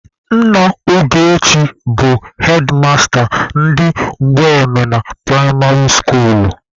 Nna Ogechi bụ hedmasta ndị Mgbemena pụraịmarị skuulu.